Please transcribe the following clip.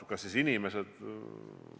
Kas siis inimesed on ka rumalad?